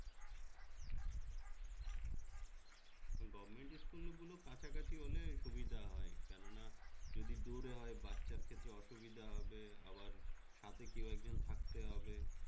government school গুলো কাছাকাছি হলে সুবিধা হয় কেননা যদি দূরে হয় বাচ্চার ক্ষেত্রে অসুবিধা হবে আবার সাথে কেউ একজন থাকতে হবে